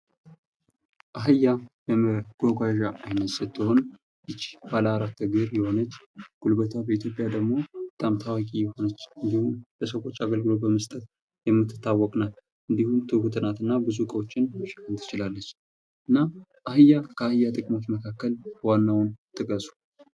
አህያ የመጕጕዣ አይነት ስትሆን ይቺ ባለአራት እግር የሆነች ጉልበቷ በኢትዮጵያ ደግሞ በጣም ታዋቂ የሆነች አንዲሁም በሰዎች አገልግሎት በመስጠት የምትታወቅ ናት:: እንዲሁም ትሁት ናት እና ብዙ እቃዎችን መሸከም ትችላለች:: እና አህያ ከአህያ ጥቅሞች መካከል ዋናውን ጥቀሱ::